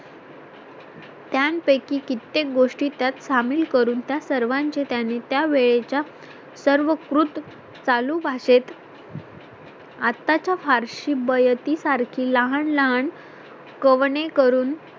त्यांपैकी कित्येक गोष्टी त्यात सामील करून त्या सर्वांचें त्याने त्या वेळचा सर्व कृत चालू भाषेत आताच्या फारशी बयतीसारखी लहान लहान कवने करून